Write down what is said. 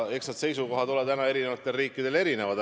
Eks need seisukohad ole eri riikidel erinevad.